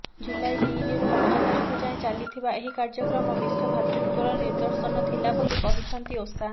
ଜୁଲାଇ ତିନିରୁ ପାଞ୍ଚ ତାରିଖ ଯାଏଁ ଚାଲିଥିବା ଏହି କାର୍ଯ୍ୟକ୍ରମ ବିଶ୍ବ ଭ୍ରାତୃତ୍ବର ନିଦର୍ଶନ ଥିଲା ବୋଲି କହିଛନ୍ତି ଓସା